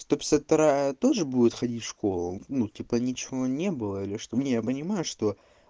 сто пятьдесят вторая тоже будет ходить в школу ну типа ничего не было или что не я понимаю что